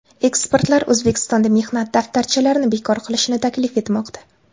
Ekspertlar O‘zbekistonda mehnat daftarchalarini bekor qilishni taklif etmoqda .